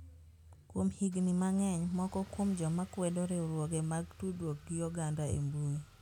Kuom higini mang'eny, moko kuom joma kwedo riwruoge mag tudruok gi oganda e mbui